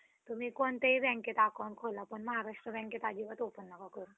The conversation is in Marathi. तुम्ही कोणत्याही बँकेमध्ये account खोला पण महराष्ट्र बँकेमध्ये अजिबात open नका करू.